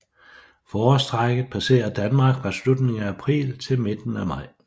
Forårstrækket passerer Danmark fra slutningen af april til midten af maj